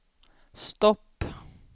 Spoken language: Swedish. stopp